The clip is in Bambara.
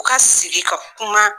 U ka sigi ka kuma